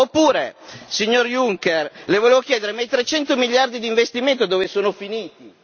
E ancora, Presidente Juncker, le volevo chiedere ma i 300 miliardi di investimenti, dove sono finiti?